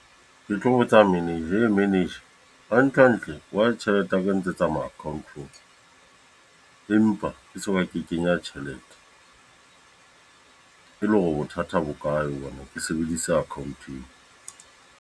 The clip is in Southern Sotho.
Ke tlo botsa manager. Manager hantle-ntle why tjhelete yaka e ntse e tsamaya account-ong? Empa ke soka ke kenya tjhelete. E le hore bothata bo kae, hobane ke sebedise account eo?